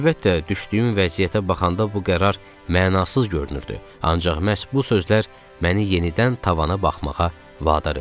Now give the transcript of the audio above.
Əlbəttə, düşdüyüm vəziyyətə baxanda bu qərar mənasız görünürdü, ancaq məhz bu sözlər məni yenidən tavana baxmağa vadar elədi.